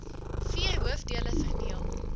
vier hoofdele verdeel